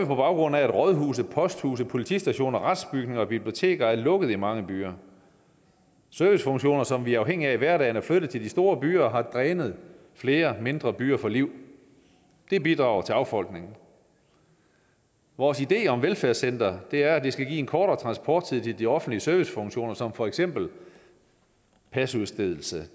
på baggrund af at rådhuse posthuse politistationer retsbygninger og biblioteker er lukket i mange byer servicefunktioner som vi er afhængige af i hverdagen er flyttet til de store byer og har drænet flere mindre byer for liv det bidrager til affolkningen vores idé om velfærdscentre er at det skal give en kortere transporttid til de offentlige servicefunktioner som for eksempel pasudstedelse